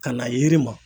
Ka na yiri ma